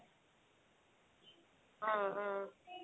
উম উম